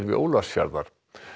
Ólafsfjarðar